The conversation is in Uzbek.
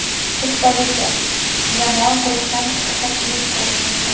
Shu tufayli jamoa guruhdan chiqishi qiyin ko‘rinyapti.